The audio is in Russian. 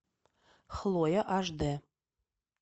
хлоя аш д